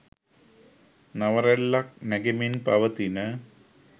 නව රැල්ලක් නැගෙමින් පවතින